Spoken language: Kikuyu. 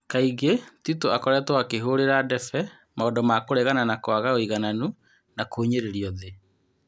Kaingĩ Titũ akoretwo akĩhũrira ndebe maũndũ ma kũregana na kwaga ũigananu na kũhinyĩrĩrio thĩ.